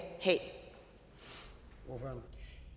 have